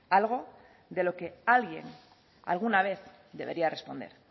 algo de lo que alguien alguna vez debería responder